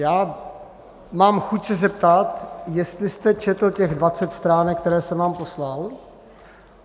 Já mám chuť se zeptat, jestli jste četl těch 20 stránek, které jsem vám poslal.